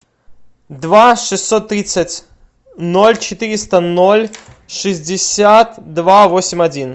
два шестьсот тридцать ноль четыреста ноль шестьдесят два восемь один